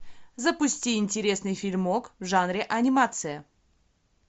запусти интересный фильмок в жанре анимация